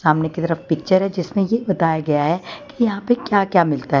सामने की तरफ पिक्चर है जिसमे ये बताया गया है कि यहां पे क्या क्या मिलता--